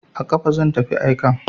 A kafa zan tafi aikan.